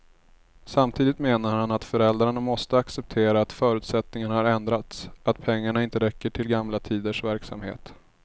Samtidigt menar han att föräldrarna måste acceptera att förutsättningarna har ändrats, att pengarna inte räcker till gamla tiders verksamhet.